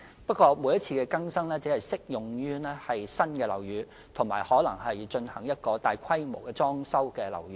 不過，每次經更新的規定只適用於新建樓宇及進行大規模維修的樓宇。